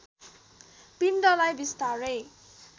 पिण्डलाई बिस्तारै